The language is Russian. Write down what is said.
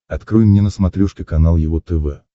открой мне на смотрешке канал его тв